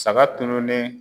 Saga tununnen